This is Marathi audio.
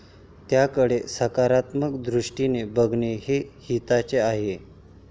त्याकडे सकारात्मक दृष्टीने बघणे हे हिताचे आहे.